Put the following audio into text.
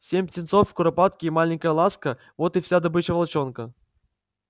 семь птенцов куропатки и маленькая ласка вот и вся добыча волчонка